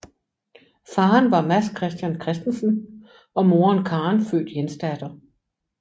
Faderen var Mads Christian Christensen og moderen Karen født Jensdatter